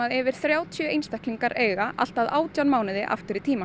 yfir þrjátíu einstaklinga allt að átján mánuði aftur í tímann